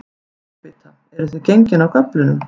Gúrkubita, eruð þið gengin af göflunum?